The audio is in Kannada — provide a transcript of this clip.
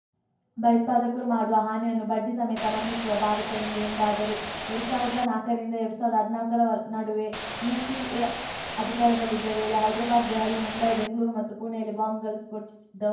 ಭಯೋತ್ಪಾದಕರು ಮಾಡುವ ಹಾನಿಯನ್ನು ಬಡ್ಡಿಸಮೇತ ಮರಳಿಸುವ ಭಾರತ ಇಂದು ಎಂದಾದರು ಎರಡ್ ಸಾವಿರದ ನಾಕರಿಂದ ಎರಡ್ ಸಾವಿರದ ಹದ್ನಾಕರ ನಡುವೆ ಯುಪಿಎ ಅಧಿಕಾರದಲ್ಲಿದ್ದ ವೇಳೆ ಹೈದರಾಬಾದ್‌ ದೆಹಲಿ ಮುಂಬೈ ಬೆಂಗಳೂರು ಮತ್ತು ಪುಣೆಯಲ್ಲಿ ಬಾಂಬ್‌ಗಳು ಸ್ಫೋಟಿಸಿದ್ದವು